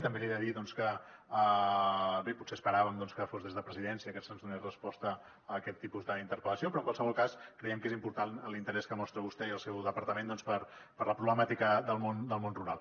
també li he de dir que bé potser esperàvem que fos des de presidència que se’ns donés resposta a aquest tipus d’interpel·lació però en qualsevol cas creiem que és important l’interès que mostren vostè i el seu departament per la problemàtica del món rural